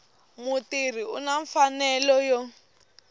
mutirhi u na mfanelo yo